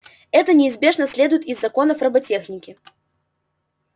это неизбежно следует из законов роботехники